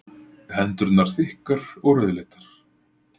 Hendurnar þykkar og rauðleitar.